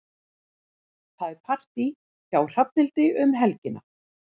Það er partí hjá Hrafnhildi um helgina.